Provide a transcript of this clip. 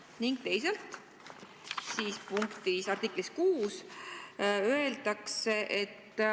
Ning teisalt, artiklis 6 öeldakse: "...